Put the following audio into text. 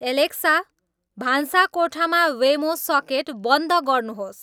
Alexa भान्साकोठामा Wemo socket बन्द गर्नुहोस्